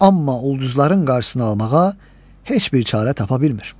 Amma ulduzların qarşısını almağa heç bir çarə tapa bilmir.